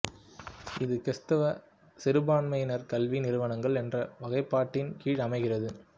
இது கிறித்துவ சிறுபான்மையினர் கல்வி நிறுவனங்கள் என்ற வகைப்பாட்டின் கீழ் அமைகிறது